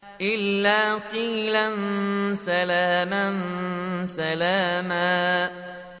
إِلَّا قِيلًا سَلَامًا سَلَامًا